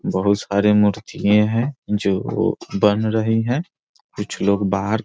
बहुत सरे मुर्तियें हैं जो बन रहे हैं कुछ लोग बाहर --